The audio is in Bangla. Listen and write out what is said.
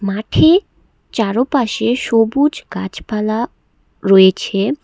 মাঠে চারোপাশে সবুজ গাছপালা রয়েছে।